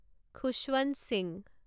Khushwant Singh